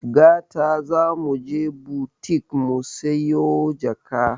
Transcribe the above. Gata zamuje butik musiyo jaka